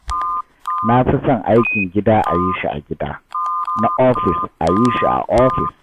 Na fi son aikin gida a yi shi a gida, na ofis a yi shi a ofis